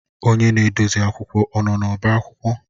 Onye na-edozi akwụkwọ ọ nọ n'ọba akwụkwọ?